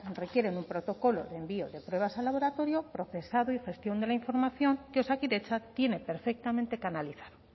requieren un protocolo de envío de pruebas a laboratorio procesado y gestión de la información que osakidetza tiene perfectamente canalizada